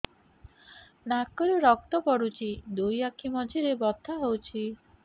ନାକରୁ ରକ୍ତ ପଡୁଛି ଦୁଇ ଆଖି ମଝିରେ ବଥା ହଉଚି